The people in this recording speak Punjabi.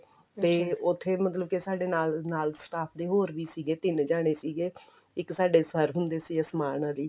ਤੇ ਉੱਥੇ ਮਤਲਬ ਕੇ ਸਾਡੇ ਨਾਲ ਨਾਲ staff ਦੇ ਹੋਰ ਵੀ ਸੀਗੇ ਤਿੰਨ ਜਣੇ ਸੀਗੇ ਇੱਕ ਸਾਡੇ sir ਹੁੰਦੇ ਸੀਗੇ ਅਸਮਾਨ ਅਲੀ